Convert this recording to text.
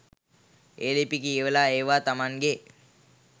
ඒ ලිපි කියවලා ඒවා තමන්ගෙ